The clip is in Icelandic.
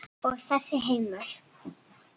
Og þessi heimur?